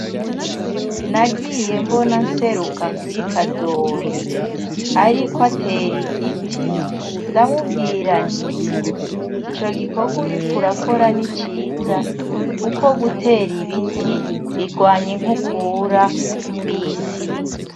Nagiye mbona nseruka kuri kadoyi ariko atera igiti ndamubwira nti ico gikorwa uriko urakora niciza kuko gutera ibiti birwanya inkukura kwisi.